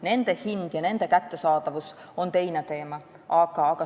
Niisuguste ravimite hind ja kättesaadavus on aga teine teema.